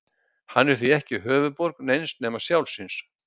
hann er því ekki höfuðborg neins nema sjálfs sín